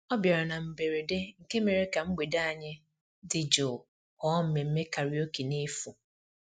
ọ bịara na mberede nke mere ka mgbede anyị dị jụụ ghọọ mmemmé karaoke n'efu